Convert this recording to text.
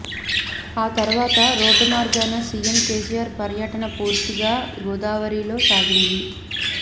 ఆ తర్వాత రోడ్డు మార్గాన సీఎం కేసీఆర్ పర్యటన పూర్తిగా గోదావరిలో సాగింది